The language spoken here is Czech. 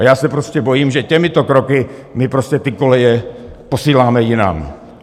A já se prostě bojím, že těmito kroky my prostě ty koleje posíláme jinam.